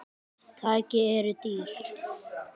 Tæki eru dýr.